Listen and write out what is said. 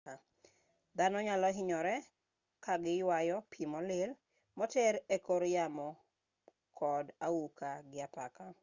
dhano nyalohinyore kagiyueyo pii molil moter ekor yamo kod auka gi apaka